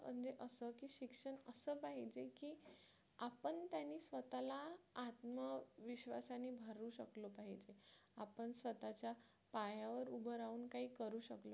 स्वतःला आत्मविश्वासाने भरू शकलो पाहिजे आपण स्वतःच्या पायावर उभे राहून काही करू शकलो पाहिजे